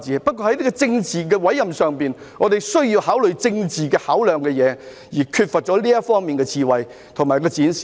不過，在政治委任上，我們需要考慮政治應考量的事，但當局缺乏這方面的智慧和展示。